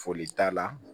Foli t'a la